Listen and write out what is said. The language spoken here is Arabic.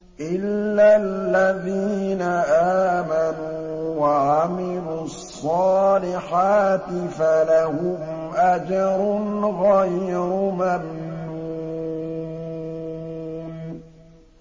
إِلَّا الَّذِينَ آمَنُوا وَعَمِلُوا الصَّالِحَاتِ فَلَهُمْ أَجْرٌ غَيْرُ مَمْنُونٍ